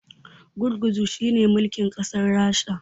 gurguzu shi ne mulkin kasar rasha